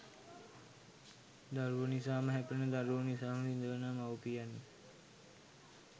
දරුවෝ නිසාම හැපෙන දරුවෝ නිසාම විඳවන මව්පියන්ය